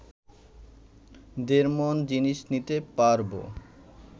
দেড় মণ জিনিষ নিতে পারবো